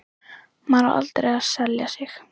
Maður á aldrei að selja sig.